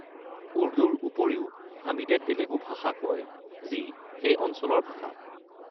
উৰ্দুৰ উপৰিও হামিদে তেলেগু ভাষা কয়, যি সেই অঞ্চলৰ ভাষা।